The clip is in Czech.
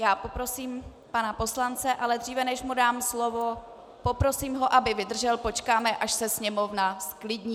Já poprosím pana poslance, ale dříve než mu dám slovo, poprosím ho, aby vydržel, počkáme, až se sněmovna zklidní.